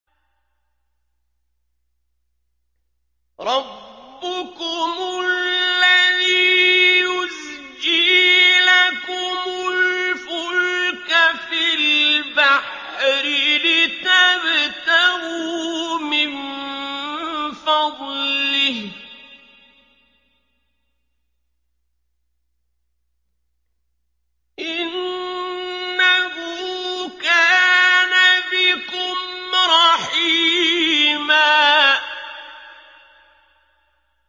رَّبُّكُمُ الَّذِي يُزْجِي لَكُمُ الْفُلْكَ فِي الْبَحْرِ لِتَبْتَغُوا مِن فَضْلِهِ ۚ إِنَّهُ كَانَ بِكُمْ رَحِيمًا